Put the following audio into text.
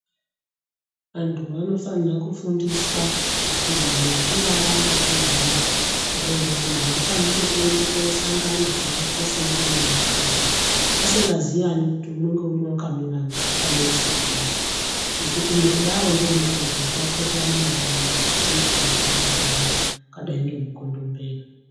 Antu anofanire kufundiswa kuti antu achinge adanana zviya awirirana afani ngekuende kosangana koata semurune nemukadzi asingaziyani kuti umwe neumwe wakamirise kudini ngekuti mukudaro ndomukuzotapurirane matenda anotambudza antu akadai ngemukondombera.